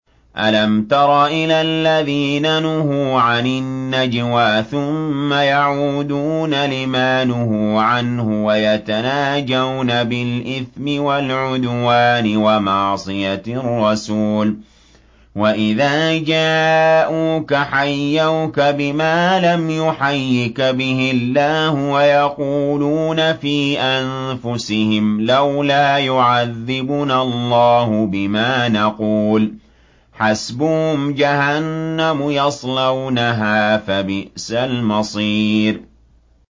أَلَمْ تَرَ إِلَى الَّذِينَ نُهُوا عَنِ النَّجْوَىٰ ثُمَّ يَعُودُونَ لِمَا نُهُوا عَنْهُ وَيَتَنَاجَوْنَ بِالْإِثْمِ وَالْعُدْوَانِ وَمَعْصِيَتِ الرَّسُولِ وَإِذَا جَاءُوكَ حَيَّوْكَ بِمَا لَمْ يُحَيِّكَ بِهِ اللَّهُ وَيَقُولُونَ فِي أَنفُسِهِمْ لَوْلَا يُعَذِّبُنَا اللَّهُ بِمَا نَقُولُ ۚ حَسْبُهُمْ جَهَنَّمُ يَصْلَوْنَهَا ۖ فَبِئْسَ الْمَصِيرُ